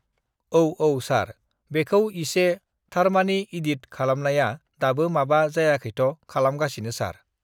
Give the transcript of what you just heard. औऔ सार(sir) बेखौ इसे uhh थारमानि इदिद(edit) खालामनाया दाबो माबा जायाखैथ' खालाम गासिनो सार(sir)